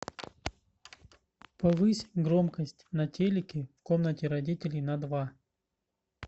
повысь громкость на телике в комнате родителей на два